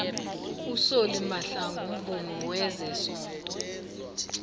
usolly mahlangu mvumi wezesondo